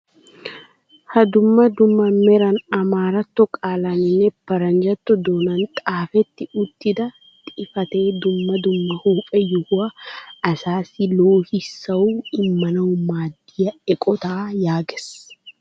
Ha dumma dumma meran amaaratto qalaaninne paranjjato doonan xaafetti uttida xifatee dumma dumma huuphphe yohouwaan asaasi loohissuwaa immanawu maaddiyaa eqotaa yaagees.